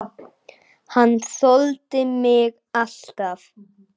Hann þoldi mig alltaf.